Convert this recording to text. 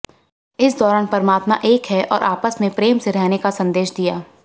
इस दौरान परमात्मा एक है और आपस में प्रेम से रहने का संदेश दिया